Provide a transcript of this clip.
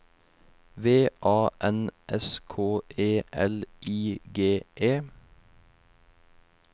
V A N S K E L I G E